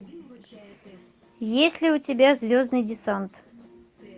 есть ли у тебя звездный десант